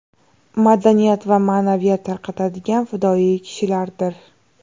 madaniyat va ma’naviyat tarqatadigan fidoyi kishilardir.